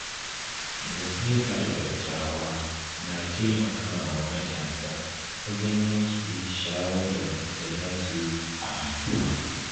Nasihar dattawa na taimakawa matasa wajen yanke shawarar da ta dace a rayuwa.